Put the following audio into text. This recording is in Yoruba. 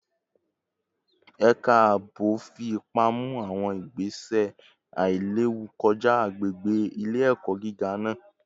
Ẹka aabo fi ipa mu awọn igbese ailewu kọja agbegbe ile-ẹkọ giga naa